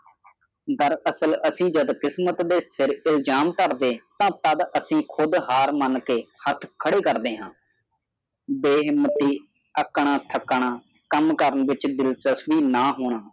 ਡਾਰ ਅਸਲ ਅਸੀਂ ਕਿਸਮਤ ਦੇ ਸਰ ਅਲਜਮ ਤਾਰਦੇ ਤਾ ਤਦ ਅਸੀਂ ਖੁਦ ਹਾਰ ਮਣਕੇ ਹੱਥ ਖੇਡ ਕਰਦੇ ਹਾਂ ਬੇ ਹਿਮਾਤੀ ਆਖਣਾ ਥੱਕਣਾ ਕਾਮ ਕਰਨ ਵਿਚ ਦਿਲਚਸਪੀ ਨਾ ਹੋਣਾ